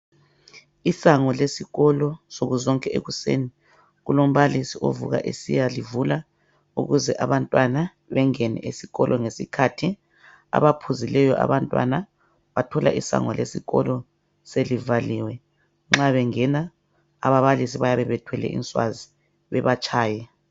Isango lesikolo, nsuku zonke ekuseni, kulombalisi ovuka esiyalivula. Ukuze abantwana bengene esikolo ngesikhathi. Abaphuzileyo abantwana, bathola isango lesikolo, selivaliwe. Nxabengena, ababalisi bayabe bethwele inswazi, bebatshaye.